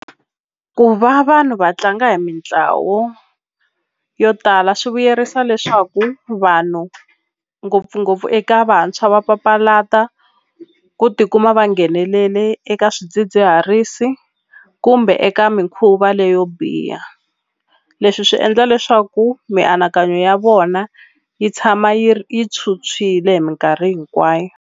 Ku va vanhu va tlanga hi mitlawo yo tala swi vuyerisa leswaku vanhu ngopfungopfu eka vantshwa va papalata ku tikuma va nghenelele eka swidzidziharisi kumbe eka mikhuva leyo biha leswi swi endla leswaku mianakanyo ya vona yi tshama yi yitshwutshwile hi minkarhi hinkwayo.